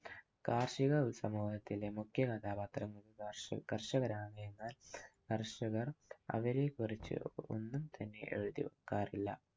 കാർഷിക സമൂഹത്തിന്‍റെ മുഖ്യ കഥാപാത്രം കർഷകനാണ്. എന്നാൽ കർഷകർ അവരെക്കുറിച്ചു ഒന്നും തന്നെ എഴുതിവാക്കാറില്ല.